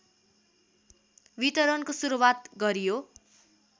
वितरणको सुरुवात गरियो